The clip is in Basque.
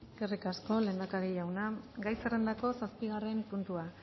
eskerri asko lehendakari jauna gai zerrendako zazpigarren puntua